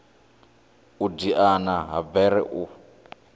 u diana ha bere u